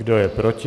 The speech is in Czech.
Kdo je proti?